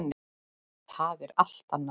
Það er allt annað.